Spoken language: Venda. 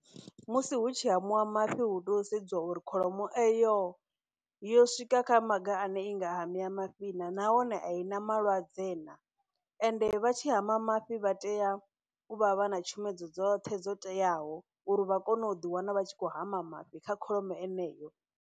Musi hu tshi hamiwa mafhi hu to sedziwa uri kholomo eyo yo swika kha maga ane inga hamela mafhi na nahone a i na malwadze na ende vha tshi hama mafhi vha tea u vha vha na tshomedzo dzoṱhe dzo teaho uri vha kone u ḓi wana vha tshi khou hama mafhi kha kholomo eneyo.